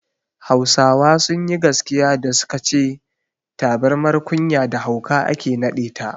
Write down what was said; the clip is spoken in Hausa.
Hausawa sunyi gaskiya da suka ce tabirmar kunya da hauka ake naɗe ta